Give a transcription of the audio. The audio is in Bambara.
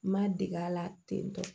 N ma dege a la ten tɔ